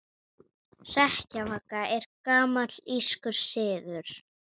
Hrekkjavaka er gamall írskur siður.